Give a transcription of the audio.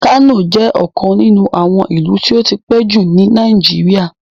Kano jẹ ọkan nínu àwọn ìlú ti o tí pẹ ju ni Naijiria